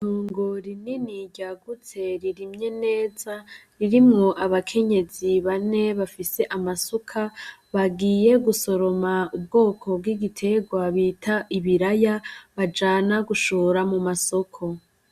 Itongo rinini ryagutse ririmye neza, ririmwo abakenyezi bane bafise amasuka, bagiye gusoroma ubwoko bw'igitegwa bita ibiraya, bajana gushora mu masoko.